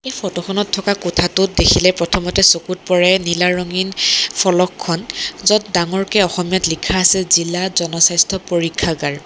Photo খনত থকা কোঠাটোত দেখিলে প্ৰথমতে চকুত পৰে নীলা ৰঙীন ফলকখন য'ত ডাঙৰকে অসমীয়াত লিখা আছে জিলা জনস্বাস্থ্য পৰীক্ষাগাৰ।